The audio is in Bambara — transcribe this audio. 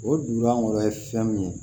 O dugu an kɔrɔ ye fɛn min ye